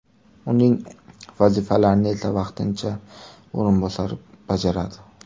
Uning vazifalarini esa vaqtincha o‘rinbosari bajaradi.